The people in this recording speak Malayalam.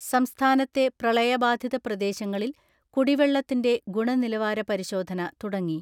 സംസ്ഥാനത്തെ പ്രളയബാധിത പ്രദേശങ്ങളിൽ കുടിവെ ള്ളത്തിന്റെ ഗുണനിലവാര പരിശോധന തുടങ്ങി.